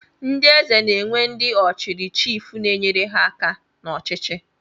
Ndị Eze na-enwe ndị ọ chiri chiif na-enyere ha aka n'ọchịchị